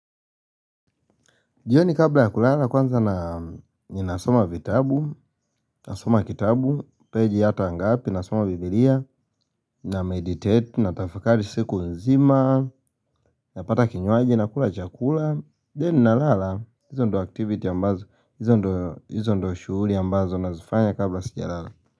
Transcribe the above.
Jioni kabla ya kulala kwanza ninasoma vitabu, nasoma kitabu, page yata angapi, nasoma biblia, na meditate, natafakari siku nzima, napata kinywaji, nakula chakula, then na lala, izo ndo activity ambazo, izo ndo shughuli ambazo nazifanya kabla sija lala.